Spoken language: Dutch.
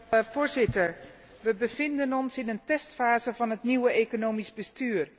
Voorzitter, we bevinden ons in een testfase van het nieuwe economisch bestuur.